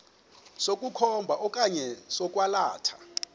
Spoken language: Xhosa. sokukhomba okanye sokwalatha